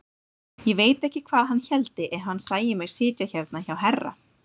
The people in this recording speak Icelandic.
Ég veit ekki hvað hann héldi ef hann sæi mig sitja hérna hjá herra!